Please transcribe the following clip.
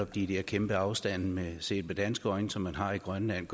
de der kæmpe afstande set med danske øjne som man har i grønland